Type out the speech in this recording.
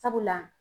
Sabula